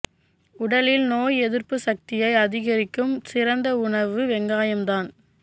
உடலில் நோய் எதிர்ப்பு சக்தியை அதிகரிக்கும் சிறந்த உணவு வெங்காயம் தான்